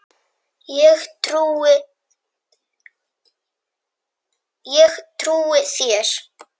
Ég trúi þér